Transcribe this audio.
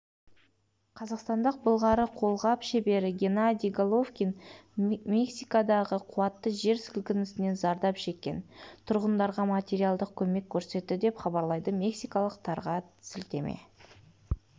қазақстандық былғары қолғап шебері геннадий головкин мексикадағы қуатты жер сілкінісінен зардап шеккен тұрғындарға материалдық көмек көрсетті деп хабарлайды мексикалық тарға сілтеме